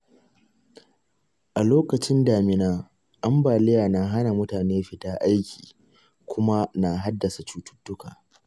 A lokacin damina, ambaliya na hana mutane fita aiki kuma na haddasa cututtuka.